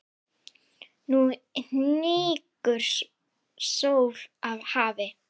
Nú hnígur sól að hafi.